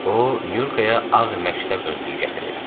O Nyurkaya ağ məktəb önlüyü gətirib.